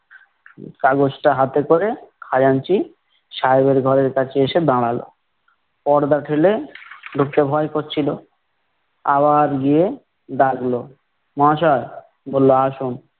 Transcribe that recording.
কাগজটা হাতে করে, খাজাঞ্চি সাহেবের ঘরের কাছে এসে দাঁড়ালো । পর্দা ঠেলে, ঢুকতে ভয় করছিলো, আবার গিয়ে ডাকলো মহাশয়? বললো আসুন।